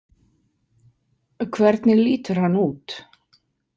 Hvernig lítur hann út?